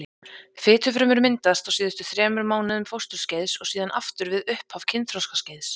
Fitufrumur myndast á síðustu þremur mánuðum fósturskeiðs og síðan aftur við upphaf kynþroskaskeiðs.